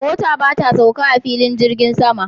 Mota ba ta sauka a filin jirgin sama